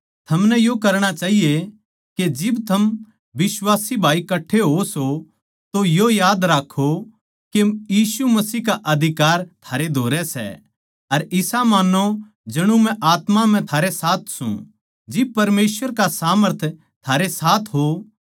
थमनै यो करणा चाहिए के जिब थम बिश्वासी भाई कठ्ठे होओ सों तो यो याद राक्खों के यीशु मसीह का अधिकार थारे धोरै सै अर इसा मान्नो जणु मै आत्मा म्ह थारे साथ सूं जिब परमेसवर का सामर्थ थारे साथ हो